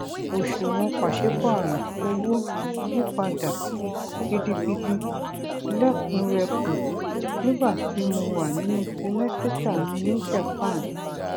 oṣuwọn paṣípàrọ owó yí padà gidigidi lẹkùnrẹkùn nígbà tí mo wà nínú símẹsítà mi ní japan